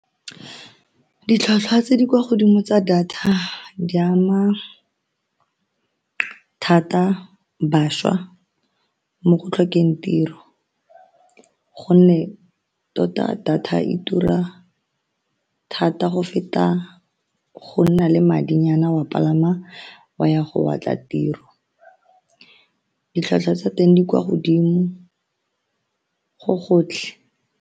Ditlhwatlhwa tse di kwa godimo tsa data di ama thata bašwa mo go tlhokeng tiro, ka gonne tota data e tura thata go feta go nna le madinyana wa palama wa ya go batla tiro, ditlhwatlhwa tsa teng di kwa godimo go gotlhe.